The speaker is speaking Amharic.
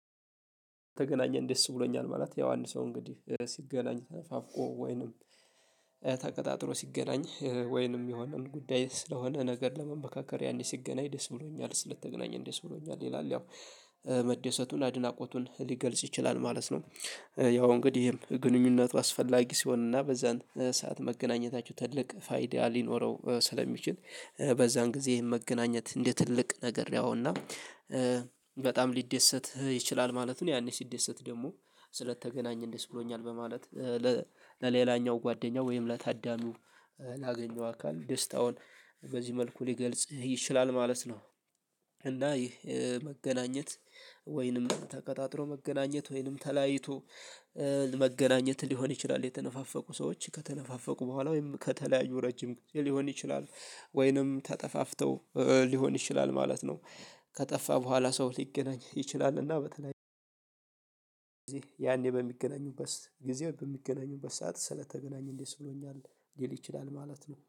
ስለተገናኘን ደስ ብሎኛል ማለት ያው አንድ ሰው እንግዲህ ሲገናኝ ተነፋፍቆ ወይንም ተቀጣጥሮ ሲገናኝ ወይንም የሆነውን ጉዳይ ስለሆነ ነገር ለመመካከር ያኔ ሲገናኝ ደስ ብሎኛል ስለተገናኘን ደስ ብሎኛል ይላል ያው መደሰቱን አድናቆቱን ሊገልጽ ይችላል ማለት ነው። ያው እንግዲህ ግንኙነቱ አስፈላጊ ሲሆን እና በዛን ሰዓት መገናኘታችሁ ትልቅ ፋይዳ ሊኖረው ስለሚችል በዛን ጊዜ መገናኘትን እንደ ትልቅ ነገር ያየውና በጣም ሊደሰት ይችላል ማለት ነው። ያኔ ሲደሰት ደግሞ ስለተገናኘን ደስ ብሎኛል በማለት ለሌላኛው ጓደኛው ወይም ለታዳሚው ላገኘው አካል ደስታውን በዚህ መልኩ ሊገልጽ ይችላል ማለት ነው። እና ይህ መገናኘት ወይንም ተቀጣጥሮ መገናኘት ወይንም ተላያይቶ መገናኘት ሊሆን ይችላል የተነፋፈቁ ሰዎች ከተነፋፈቁ በኋላ ወይም ከተለያዩ ረጅም ጊዜ ሊሆን ይችላል ወይንም ተጠፋፍተው ሊሆን ይችላል ማለት ነው። ከጠፋ በኋላ ሰው ሊገናኝ ይችላልና በተለይ ያኔ በሚገናኙበት ሰጊዜ በሚገናኙበት ሰዓት ስለተገናኘን ደስ ብሎኛል ሊል ይችላል ማለት ነው